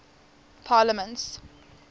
parliaments